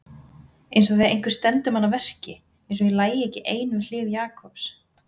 Einsog þegar einhver stendur mann að verki, einsog ég lægi ekki ein við hlið Jakobs.